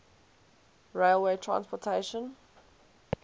railway transportation